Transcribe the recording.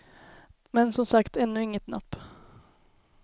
Men som sagt ännu inget napp.